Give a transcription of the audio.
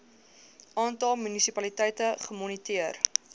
aantal munisipaliteite gemoniteer